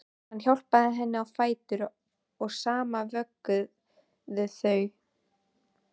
Hann hjálpaði henni á fætur og saman vögguðu þau